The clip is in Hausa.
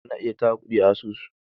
ana ayi tara kudi a asusu